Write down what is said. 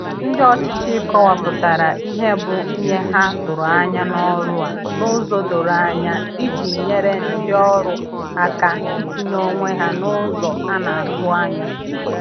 Ndi ọchịchị kọwapụtara ihe bụ ihe ha tụrụ anya n'ọrụ a n'ụzọ doro anya iji nyere ndị ọrụ aka itinye onwe ha n’ụzọ a na-atụ anya.